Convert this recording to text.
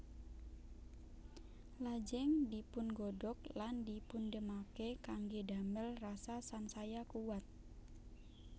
Lajeng dipungodhog lan dipundhemake kangge damel rasa sansaya kuwat